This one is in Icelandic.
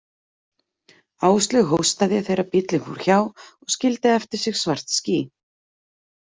Áslaug hóstaði þegar bílinn fór hjá og skildi eftir sig svart ský.